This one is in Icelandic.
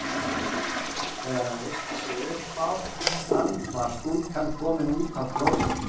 Þegar hann reisti sig upp sá hann hvar stúlkan kom útaf klósettinu.